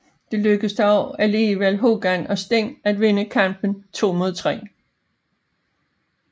Det lykkedes dog alligevel Hogan og Sting at vinde kampen to mod tre